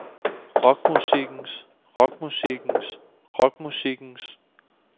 rockmusikkens rockmusikkens rockmusikkens